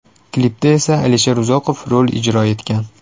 Klipda esa Alisher Uzoqov rol ijro etgan.